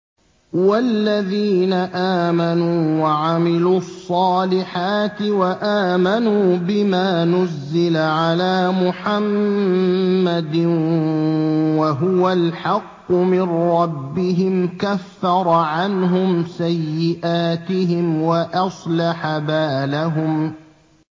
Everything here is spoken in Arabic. وَالَّذِينَ آمَنُوا وَعَمِلُوا الصَّالِحَاتِ وَآمَنُوا بِمَا نُزِّلَ عَلَىٰ مُحَمَّدٍ وَهُوَ الْحَقُّ مِن رَّبِّهِمْ ۙ كَفَّرَ عَنْهُمْ سَيِّئَاتِهِمْ وَأَصْلَحَ بَالَهُمْ